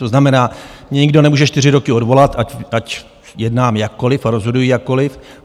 To znamená, mě nikdo nemůže čtyři roky odvolat, ať jednám jakkoliv a rozhoduji jakkoliv.